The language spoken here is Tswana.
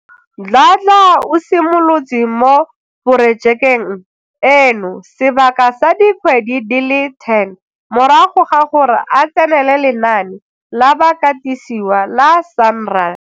Dladla o simolotse mo porojekeng eno sebaka sa dikgwedi di le 10 morago ga gore a tsenele lenaane la bakatisiwa la SANRAL.